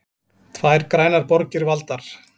Tvær grænar borgir valdar